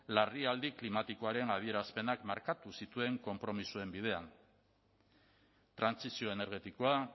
larrialdi klimatikoaren adierazpenak markatu zituen konpromisoen bidean trantsizio energetikoa